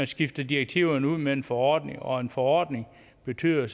skifter direktiverne ud med en forordning og en forordning bliver